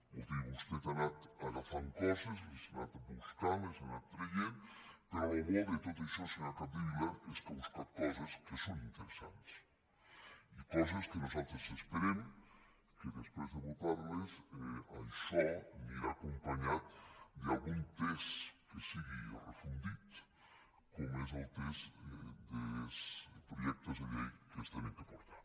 vull dir que vostè ha anat agafant coses les ha anat buscant les ha anat traient però el bo de tot això senyora capdevila és que ha buscat coses que són interesants i coses que nosaltres esperem que després de votar les això anirà acompanyat d’algun text que sigui refós com és el text de projectes de llei que s’han de portar